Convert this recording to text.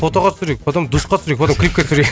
фотоға түсірейік потом душқа түсірейік потом клипке түсірейік